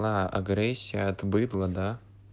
агрессия от быдла да